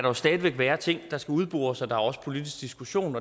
jo stadig være ting der skal udbores og der er også politisk diskussion